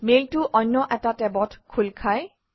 মেইলটো অন্য এটা টেবত খোল খায়